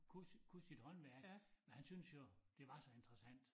Kunne kunne sit håndværk og han syntes jo det var så interressant